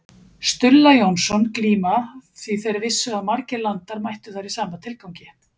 Stulla Jónsson glíma því þeir vissu að margir landar mættu þar í sama tilgangi.